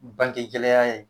Bange gɛlɛya ye.